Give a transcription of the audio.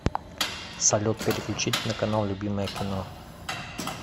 салют переключить на канал любимое кино